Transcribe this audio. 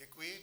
Děkuji.